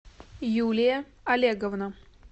юлия олеговна